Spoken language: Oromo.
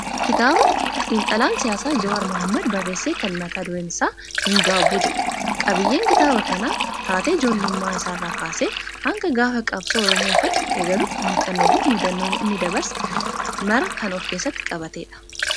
Kitaaba xiinxalaan siyaasaa Jawaar Mohaammad barreesse kan mata dureen isaa "Hin gaabbu" jedhu. Qabiyyeen kitaaba kanaa taatee ijoollummaa isaa irraa kaasee hanga gaafa qabsoo Oromoo ifatti eegaluutti muuxannoo fi mudannoo inni dabarse mara kan ofkeessatti qabatedha.